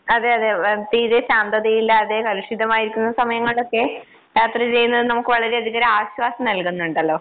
അതെ അതെ ആഹ് തീരെ ശാന്തതയില്ലാതെ കലുഷിതമായിരിക്കുന്ന സമയങ്ങളിലൊക്കെ യാത്ര ചെയ്യുന്നത് നമുക്ക് വളരെയധികം ഒരാശ്വാസം നൽകുന്നുണ്ടല്ലോ.